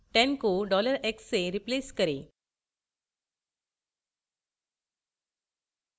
10 को $x से replace करें